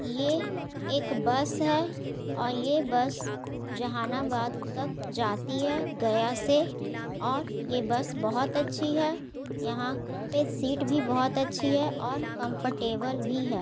ये एक बस है और ये बस जहानाबाद तक जाती है गया से और ये बस बहोत अच्छी है| यहाँ पे सीट भी बहोत अच्छी है और कम्फर्टेबल भी है ।